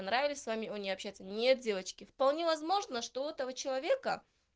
понравились с вами он не общается нет девочки вполне возможно что у этого человека